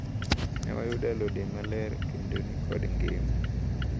Newayudo alode maler kendo nikod ngima.